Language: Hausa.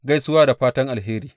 Gaisuwa da fatan alheri.